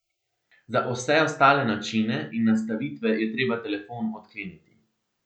Za vse ostale načine in nastavitve je treba telefon odkleniti.